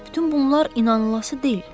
Bütün bunlar inanılası deyil.